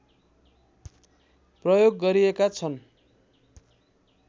प्रयोग गरिएका छन्